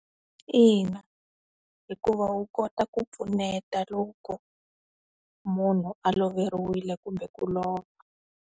Ina, hikuva wu kota ku pfuneta loko, munhu a loveriwile kumbe ku lova.